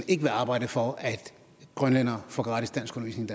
ikke vil arbejde for at grønlændere får gratis danskundervisning